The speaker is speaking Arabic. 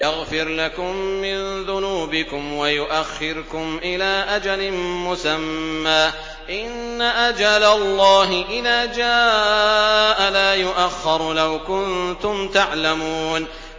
يَغْفِرْ لَكُم مِّن ذُنُوبِكُمْ وَيُؤَخِّرْكُمْ إِلَىٰ أَجَلٍ مُّسَمًّى ۚ إِنَّ أَجَلَ اللَّهِ إِذَا جَاءَ لَا يُؤَخَّرُ ۖ لَوْ كُنتُمْ تَعْلَمُونَ